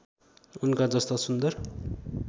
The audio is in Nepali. उनका जस्ता सुन्दर